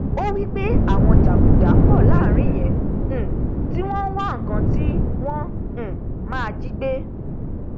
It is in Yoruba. ó wípé àwọn jàgùdà pọ láàrin yẹn um tí wọn wá nkan tí wọn um máa jígbé